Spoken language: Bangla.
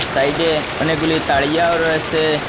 সাইডে -এ অনেকগুলি তাড়িয়াও রয়েসে।